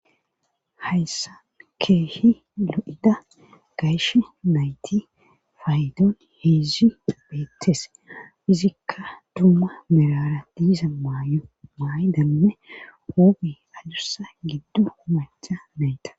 Hayssa keehi lu7ida gayshe nayti faydon heezi beettes izikka dumma mirara diiza maayo maayi danne ooge adursa giddu umacha meyta.